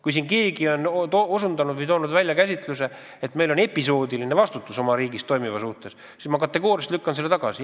Kui siin keegi on välja toonud käsituse, et meil on episoodiline vastutus oma riigis toimuva eest, siis ma kategooriliselt lükkan selle tagasi.